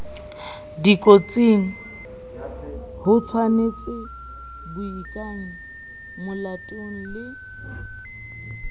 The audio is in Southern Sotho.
dikotsing hotshwanetse baikenye molatong le